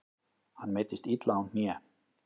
Hann meiddist illa á hné.